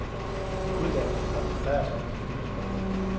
Uddannelsen koncentrerer sig om økonomi og sprog.